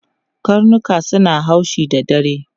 Karnuka suna haushi da dare.